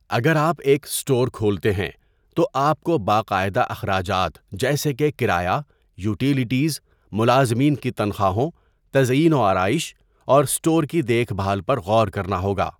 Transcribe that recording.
اگر آپ ایک اسٹور کھولتے ہیں، تو آپ کو باقاعدہ اخراجات جیسے کہ کرایہ، یوٹیلیٹیز، ملازمین کی تنخواہوں، تزئین و آرائش، اور اسٹور کی دیکھ بھال پر غور کرنا ہوگا۔